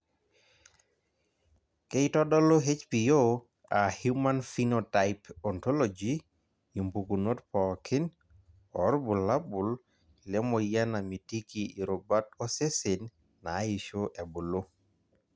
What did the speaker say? Keitodolu HPO aa Human phenotype ontology impukunot pookin oorbulabol lemoyian namitiki irubat osesen naaisho ebulu.